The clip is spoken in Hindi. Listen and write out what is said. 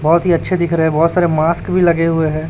बहोत ही अच्छे दिख रहे हैं बहोत सारे मास्क भी लगे हुए हैं।